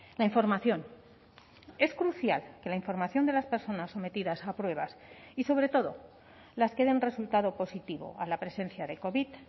la información es crucial que la información de las personas sometidas a pruebas y sobre todo las que den resultado positivo a la presencia de covid